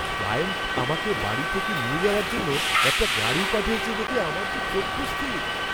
Client আমাকে বাড়ি থেকে নিয়ে যাওয়ার জন্য একটি গাড়ি পাঠিয়েছে দেখে আমার তো চক্ষু স্থির!